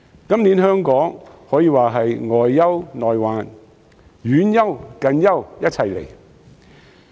今年，香港可說是外憂內患，遠憂近憂一齊來。